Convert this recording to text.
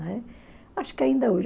Acho que ainda hoje.